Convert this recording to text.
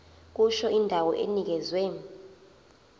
kusho indawo enikezwe